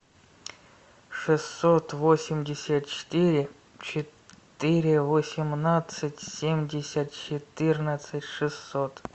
шестьсот восемьдесят четыре четыре восемнадцать семьдесят четырнадцать шестьсот